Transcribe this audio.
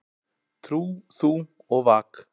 Trú þú og vak.